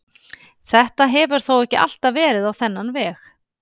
Þetta hefur þó ekki alltaf verið á þennan veg.